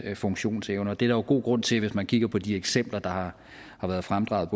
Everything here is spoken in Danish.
funktionsevne og det er der jo god grund til hvis man kigger på både de eksempler der har været fremdraget